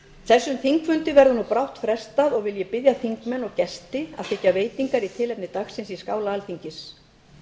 þessum þingfundi verður nú brátt frestað og vil ég biðja þingmenn og gesti að þiggja veitingar í tilefni dagsins í skála alþingis